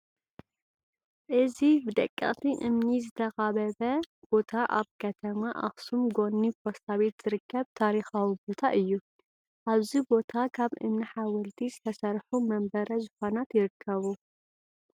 እዚ ብደቀቕቲ እምኒ ዝተኻበበ ቦታ ኣብ ከተማ ኣኽሱም ጎኒ ፓስታ ቤት ዝርከብ ታሪካዊ ቦታ እዩ፡፡ ኣብዚ ቦታ ካብ እምኒ ሓወልቲ ዝተሰርሑ መንበረ ዙፋናት ይርከቡ፡፡